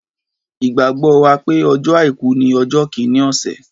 Ìgbàgbọ́ wà pé ọjọ́ àìkú ni ọjọ́ kìíní ọ̀sẹ̀.